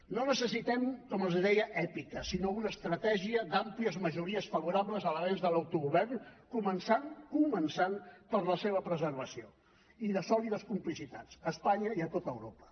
no necessitem com els deia èpica sinó una estratègia d’àmplies majories favorables a l’avenç de l’autogovern començant per la seva preservació i de sòlides complicitats a espanya i a tota europa